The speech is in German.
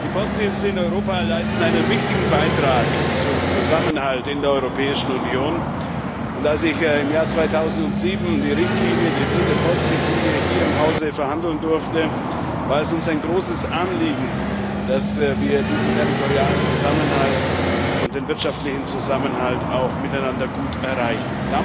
Die Postdienste in Europa leisten einen wichtigen Beitrag zum Zusammenhalt in der Europäischen Union. Als ich im Jahr 2007 die Richtlinie die dritte Postrichtlinie hier im Hause verhandeln durfte, war es uns ein großes Anliegen, dass wir diesen territorialen Zusammenhalt und den wirtschaftlichen Zusammenhalt miteinander gut erreichen.